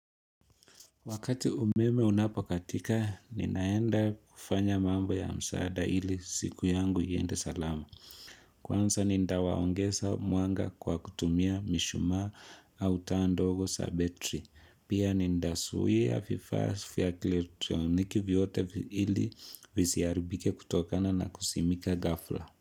Wakati umeme unapokatika, ninaenda kufanya mambo ya msaada ili siku yangu iende salama. Kwanza ninda waongesa mwanga kwa kutumia mishumaa au taa ndogo sa betri. Pia ninda suia fifa fia kielektroniki vyote ili viziaribike kutokana na kusimika ghafla.